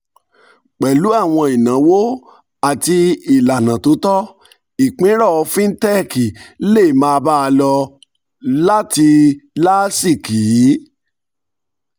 pẹ̀lú àwọn ìnáwó àti ìlànà tó tọ́ ìpínrọ̀ fintech lè máa bá a lọ láti láásìkí